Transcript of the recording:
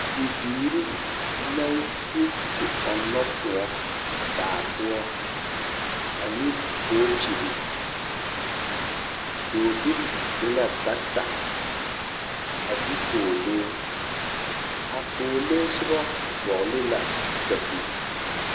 Bibiiri naŋ sig te ɔnnɔ kõɔ baa poɔ, ane bookyiri. Dɔɔbil e la bata, a de pɔɔlee. A pɔɔlee soba vɔgele la sapig.